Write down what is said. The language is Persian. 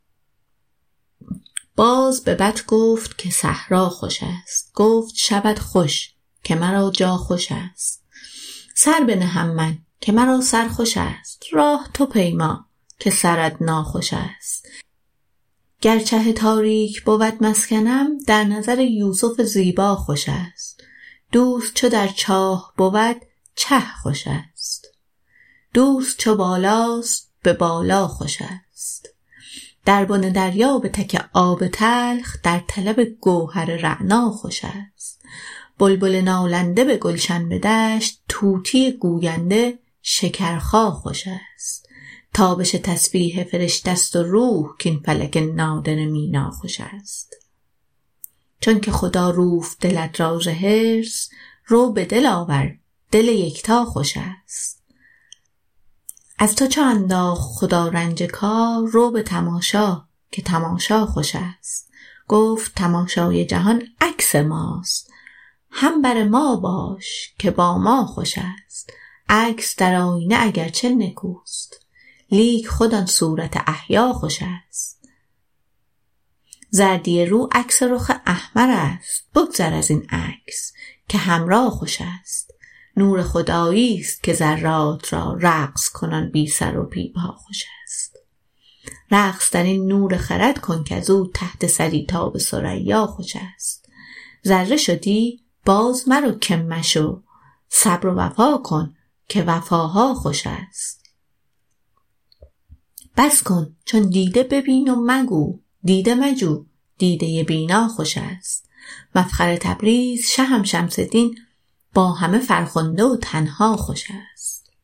باز به بط گفت که صحرا خوشست گفت شبت خوش که مرا جا خوشست سر بنهم من که مرا سر خوشست راه تو پیما که سرت ناخوشست گر چه تاریک بود مسکنم در نظر یوسف زیبا خوشست دوست چو در چاه بود چه خوشست دوست چو بالاست به بالا خوشست در بن دریا به تک آب تلخ در طلب گوهر رعنا خوشست بلبل نالنده به گلشن به دشت طوطی گوینده شکرخا خوشست تابش تسبیح فرشته ست و روح کاین فلک نادره مینا خوشست چونک خدا روفت دلت را ز حرص رو به دل آور دل یکتا خوشست از تو چو انداخت خدا رنج کار رو به تماشا که تماشا خوشست گفت تماشای جهان عکس ماست هم بر ما باش که با ما خوشست عکس در آیینه اگرچه نکوست لیک خود آن صورت احیا خوشست زردی رو عکس رخ احمرست بگذر از این عکس که حمرا خوشست نور خدایی ست که ذرات را رقص کنان بی سر و بی پا خوشست رقص در این نور خرد کن کز او تحت ثری تا به ثریا خوشست ذره شدی بازمرو که مشو صبر و وفا کن که وفاها خوشست بس کن چون دیده ببین و مگو دیده مجو دیده بینا خوشست مفخر تبریز شهم شمس دین با همه فرخنده و تنها خوشست